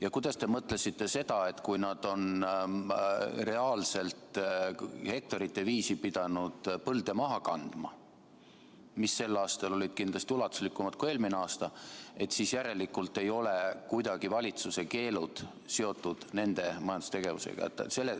Ja mida te mõtlesite sellega, et kui nad on reaalselt hektarite viisi pidanud põlde maha kandma, mida sel aastal oli kindlasti ulatuslikumalt kui eelmine aasta, siis järelikult ei ole kuidagi valitsuse keelud seotud nende majandustegevusega.